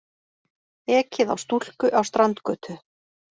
Ekið á stúlku á Strandgötu